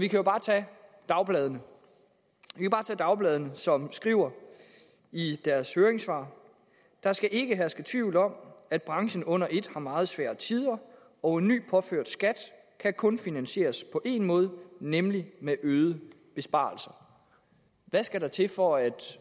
vi kan jo bare tage dagbladene dagbladene som skriver i deres høringssvar der skal ikke herske tvivl om at branchen under ét har meget svære tider og en ny påført skat kan kun finansieres på en måde nemlig med øgede besparelser hvad skal der til for at